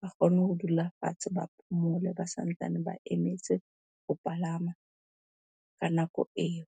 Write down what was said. ba kgone ho dula fatshe, ba phomole, ba santsane ba emetse ho palama ka nako eo.